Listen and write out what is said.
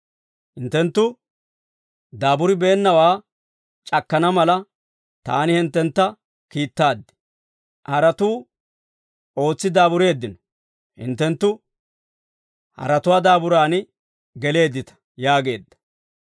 Hinttenttu daaburibeennawaa c'akkana mala, taani hinttentta kiittaad; haratuu ootsi daabureeddino; hinttenttu haratuwaa daaburan geleeddita» yaageedda.